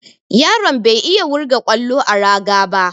Yaron bai iya wurga ƙwallo a raga ba.